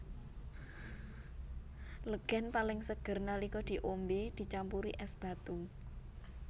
Legèn paling seger nalika diombé dicampuri ès batu